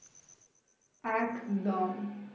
একদম